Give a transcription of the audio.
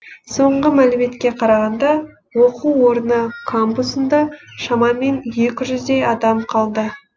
соңғы мәліметке қарағанда оқу орны кампусында шамамен екі жүздей адам қалды